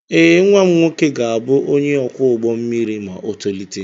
Ee, nwa m nwoke ga-abụ onye ọkwọ ụgbọ mmiri ma o tolite.